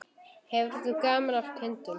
Hefur þú gaman af kindum?